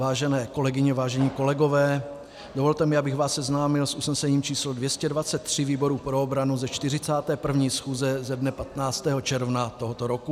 Vážené kolegyně, vážení kolegové, dovolte mi, abych vás seznámil s usnesením číslo 223 výboru pro obranu ze 41. schůze ze dne 15. června tohoto roku.